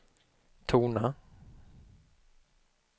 tona